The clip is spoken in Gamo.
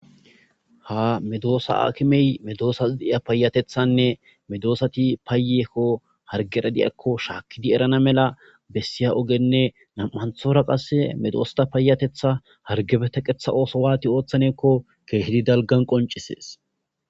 Ha medossa akimey meddossata payateththanne meddosati payyeko harggera diyako shakkidi erana malla bessiy oggene nam'anthora qasse meddosata payatetha hargeppa teqqetha otho waati ooththanne giiko keidi daalggan qonccises.